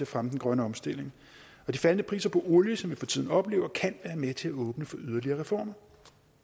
fremme den grønne omstilling de faldende priser på olie som vi for tiden oplever kan være med til at åbne for yderligere reformer